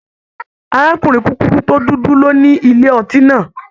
Arakunrin kukuru to dudu ló ní ilé ọtí náà.